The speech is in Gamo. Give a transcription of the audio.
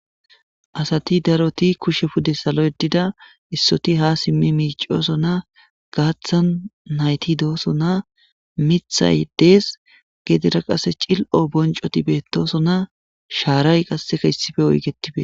Assathi darrothi kushe pudde sallo yedidda issothi ha simi micosonna gathan nayithi dosonna mithay dees gedera qassi cillo boncothi betosonna shaarayi qasse issipe oyiqeti bethes